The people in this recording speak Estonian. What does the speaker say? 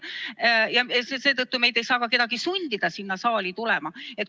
Seetõttu meid ei saa ka sundida saali tulema.